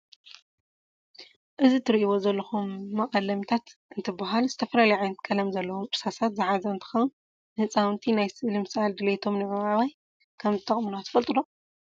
እዚ እትሪእዎ ዘለኹም መቀለሚታት እንትበሃል ዝተፈላለዩ ዓይነታት ቀለም ዘለዎም እርሳሳት ዝሓዘ እንትኸውን ንህፃውንቲ ናይ ስእሊ ምስዓል ድሌቶም ንምዕባይ ከም ዝጠቅሙና ትፈልጡ ዶ?